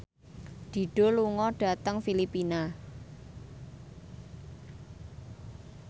Dido lunga dhateng Filipina